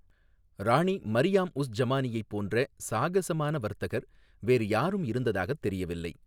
ராணி மரியாம் உஸ் ஜமானியைப் போன்ற சாகசமான வர்த்தகர் வேறு யாரும் இருந்ததாகத் தெரியவில்லை.